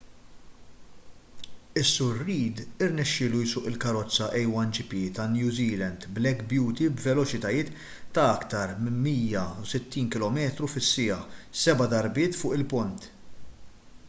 is-sur reid irnexxielu jsuq il-karozza a1gp tan-new zealand black beauty b’veloċitajiet ta’ aktar minn 160km/siegħa seba’ darbiet fuq il-pont